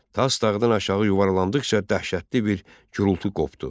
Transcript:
Tas dağdan aşağı yuvarlandıqca dəhşətli bir gurultu qopdu.